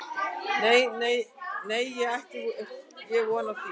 Nei, né ætti ég von á því